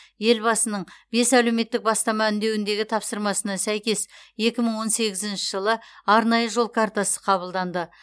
елбасының бес әлеуметтік бастама үндеуіндегі тапсырмасына сәйкес екі мың он сегізінші жылы арнайы жол картасы қабылданды